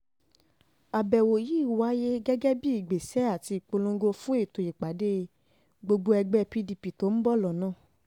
um àbẹ̀wò yìí wáyé gẹ́gẹ́ bíi ìgbésẹ̀ um àti ìpolongo fún ètò ìpàdé gbogboó ẹgbẹ́ pdp tó ń bọ̀ lọ́nà